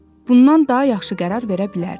Bundan daha yaxşı qərar verə bilərdi.